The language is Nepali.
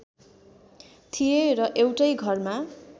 थिए र एउटै घरमा